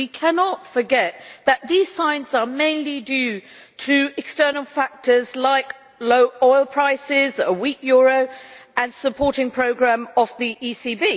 We cannot forget that these signs are mainly due to external factors like low oil prices, a weak euro and the supporting programme of the ECB.